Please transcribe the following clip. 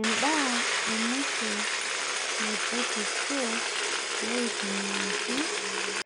Endaa e mwisho naipotutuo loihukumiaki